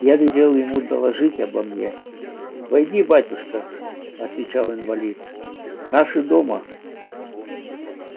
я велел ему доложить обо мне войди батюшка отвечал инвалид наши дома